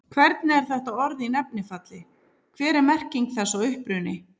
Hvernig er þetta orð í nefnifalli, hver er merking þess og uppruni?